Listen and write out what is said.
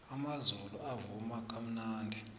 amazulu avuma kamnandi